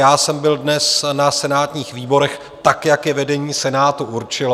Já jsem byl dnes na senátních výborech tak, jak je vedení Senátu určilo.